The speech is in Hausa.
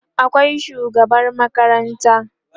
akwai shugaban makaranta